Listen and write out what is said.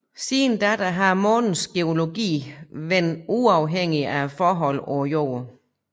Siden da har Månens geologi være uafhængig af forholdene på Jorden